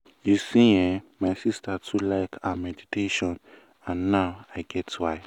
you see eh my sister too like ah meditation and na now i get why.